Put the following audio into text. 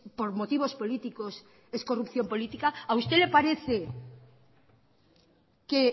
por motivos políticos es corrupción política a usted le parece que